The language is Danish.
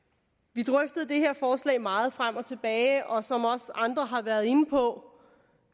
vi drøftede det her forslag meget frem og tilbage og som også andre har været inde på